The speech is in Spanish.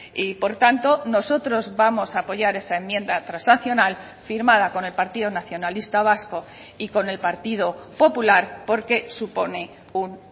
y por tanto nosotros vamos a apoyar esa enmienda transaccional firmada con el partido nacionalista vasco y con el partido popular porque supone un